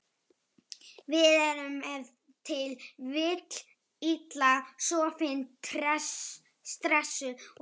Við erum ef til vill illa sofin, stressuð og kvíðin.